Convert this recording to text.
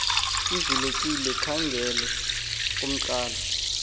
ivulekile khangele kwcala